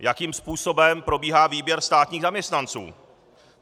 Jakým způsobem probíhá výběr státních zaměstnanců?